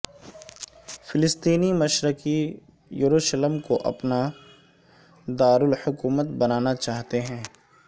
فلسطینی مشرقی یروشلم کو اپنا دار احکومت بنانا چاہتے ہیں